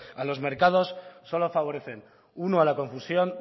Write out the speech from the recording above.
a los mercados solo favorecen uno a la confusión